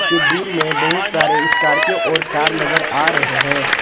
की दुर में बहोत सारे स्कॉर्पियो और कार नजर आ रहे हैं।